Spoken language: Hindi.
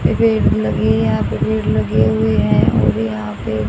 ये भीड़ लगी यहां पे भीड़ लगी हुई है और यहां पे --